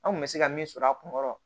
An kun bɛ se ka min sɔrɔ a kun kɔrɔ